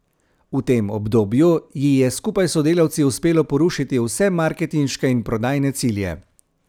V tem obdobju ji je skupaj s sodelavci uspelo porušiti vse marketinške in prodajne cilje.